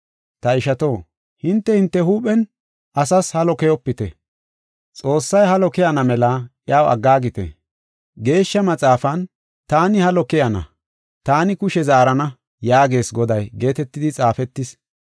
Ta ishato, hinte, hinte huuphen asas halo keyopite. Xoossay halo kessana mela iyaw aggaagite. Geeshsha Maxaafan, “Taani halo kessana; taani kushe zaarana” yaagees Goday, geetetidi xaafetis.